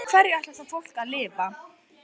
En á hverju ætlarðu þá fólkinu að lifa?